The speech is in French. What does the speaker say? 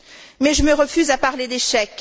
mais je me refuse à parler d'échec.